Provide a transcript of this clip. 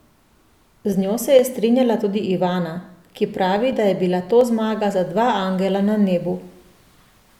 Z njo se je strinjala tudi Ivana, ki pravi, da je bila to zmaga za dva angela na nebu.